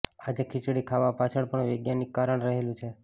આજે ખીચડી ખાવા પાછળ પણ વૈજ્ઞાનિક કારણ રહેલું છે